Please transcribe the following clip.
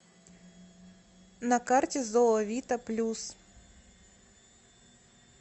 на карте зоовита плюс